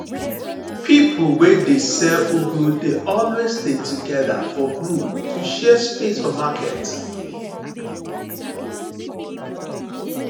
people wey they sell ugu dey always dey together for group to share space for market